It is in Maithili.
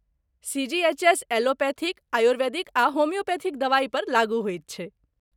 सी.जी.एच.एस. एलोपैथिक, आयुर्वेदिक आ होमियोपैथिक दवाई पर लागू होइत छैक।